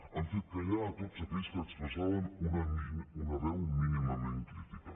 han fet callar tots aquells que expressaven una veu mínimament crítica